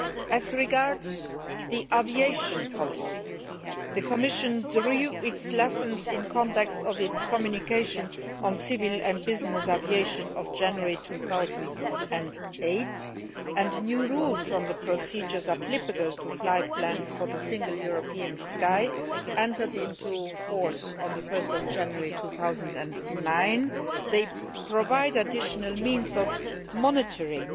As regards aviation policy, the Commission drew the necessary conclusions in the context of its communication on civil and business aviation of January 2008, and new rules on the procedures applicable to flight plans for the Single European Sky entered into force on 1 January 2009. They provide an additional means of monitoring